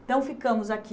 Então, ficamos aqui.